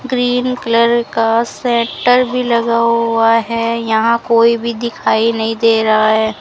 Green colour का sweater भी लगा हुआ है यहां कोई भी दिखाई नहीं दे रहा है।